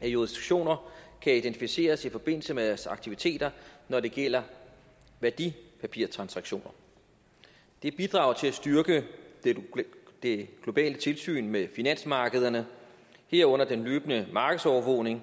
af jurisdiktioner kan identificeres i forbindelse med deres aktiviteter når det gælder værdipapirtransaktioner det bidrager til at styrke det globale tilsyn med finansmarkederne herunder den løbende markedsovervågning